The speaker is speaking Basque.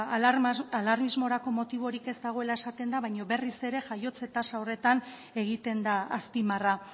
alarmismorako motiborik ez dagoela esaten da baina berriz ere jaiotze tasa horretan egiten da azpimarra